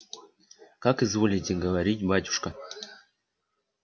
как изволите говорить батюшка